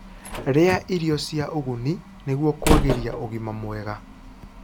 rĩa irio cia ũguni nĩguo kuagirĩa ũgima mwega